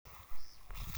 Eng' sukulisyek kwak.